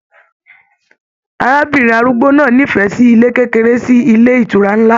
Arábìnrin arúgbó náà n'ifẹ sí ilé kékeré sí ilé ìtura nlá